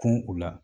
Kun u la